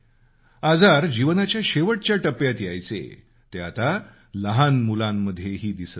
आजार जीवनाच्या शेवटच्या टप्प्यात यायचे ते आता लहान मुलांमध्येही दिसत आहेत